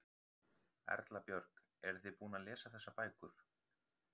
Erla Björg: Eruð þið búin að lesa þessar bækur?